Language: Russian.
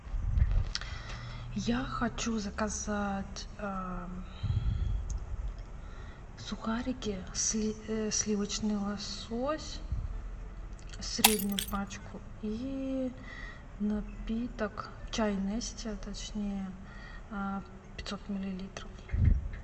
я хочу заказать сухарики сливочный лосось среднюю пачку и напиток чай нести точнее пятьсот миллилитров